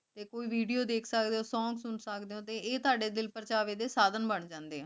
ਤੇ ਕੋਈ video ਦੇਖ ਸਕਦੇ ਊ song ਸੁਨ ਸਕਦੇ ਊ ਤੇ ਆਯ ਤਾੜੇ ਦਿਲ ਪਰ੍ਚਾਵ੍ਯ ਦੇ ਸਾਧਨ ਬਣ ਆਕੜੇ ਆ